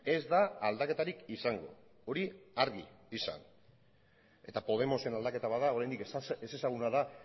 ez da aldaketarik izango hori argi izan eta podemosen aldaketa bada oraindik ezezaguna da